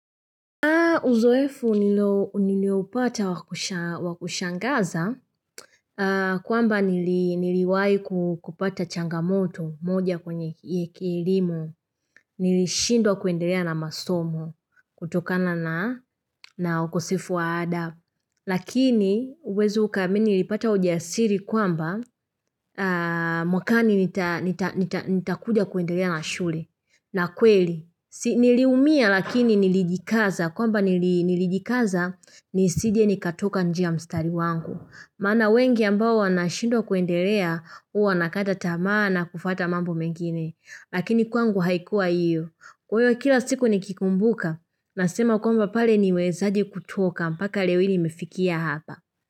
Uzoefu nilioupata wakushangaza, kwamba niliwai kupata changamoto moja kwenye elimu, nilishindwa kuendelea na masomo kutokana na ukosefu wa ada. Lakini huwezi ukaamini nilipata ujasiri kwamba mwakani nitakuja kuendelea na shule. Na kweli, niliumia lakini nilijikaza, kwamba nilijikaza nisije nikatoka nje ya mstari wangu. Maana wengi ambao wanashindwa kuendelea huwa wanakata tamaa na kufuata mambo mengine. Lakini kwangu haikuwa iyo. Kwa hiyo kila siku nikikumbuka, nasema kwamba pale nimewezaje kutoka mpaka leo hii nimefikia hapa.